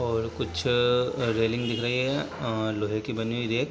और कुछ रेलिंग दिख रही है अ लोहे की बनी हुई रैक --